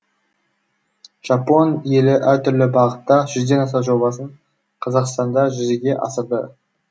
жапон елі әртүрлі бағытта жүзден ден аса жобасын қазақстанда жүзеге асырды